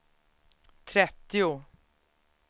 trettio